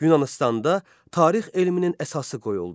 Yunanıstanda tarix elminin əsası qoyuldu.